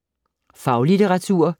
Faglitteratur